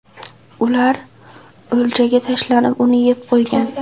Ular o‘ljaga tashlanib, uni yeb qo‘ygan.